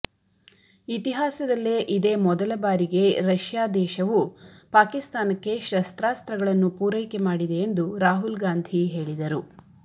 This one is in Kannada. ಇತಿಹಾಸದಲ್ಲೆ ಇದೆ ಮೊದಲ ಬಾರಿಗೆ ರಷ್ಯಾ ದೇಶವು ಪಾಕಿಸ್ತಾನಕ್ಕೆ ಶಸ್ತ್ರಾಸ್ತ್ರಗಳನ್ನು ಪೂರೈಕೆ ಮಾಡಿದೆ ಎಂದು ರಾಹುಲ್ಗಾಂಧಿ ಹೇಳಿದರು